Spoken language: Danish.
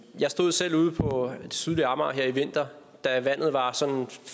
jeg stod selv ude på det sydlige amager her i vinter da vandet var sådan